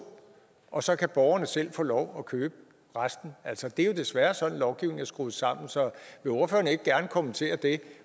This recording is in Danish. og så kan borgerne selv få lov at købe resten altså det er jo desværre sådan lovgivningen er skruet sammen så vil ordføreren ikke gerne kommentere det